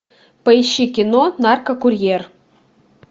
поищи кино наркокурьер